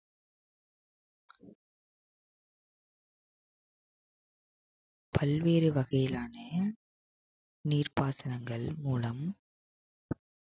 பல்வேறு வகையிலான நீர்ப்பாசனங்கள் மூலம்